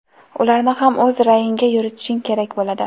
ularni ham o‘z ra’yingga yuritishing kerak bo‘ladi.